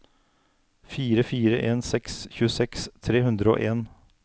fire fire en seks tjueseks tre hundre og en